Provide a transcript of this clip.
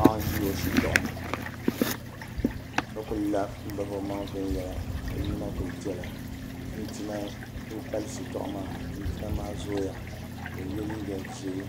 Paɣa n ʒi o shitoɣu ni ka ku la n bahi o maŋ viɛnyɛla ka o nyina ku piɛla chinchina n ku pali shitoɣu maa chinchina maa zooya ka o yɛ liiga ʒiɛ